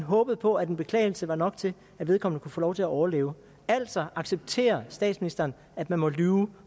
håbede på at en beklagelse var nok til at vedkommende kunne få lov til at overleve altså accepterer statsministeren at man må lyve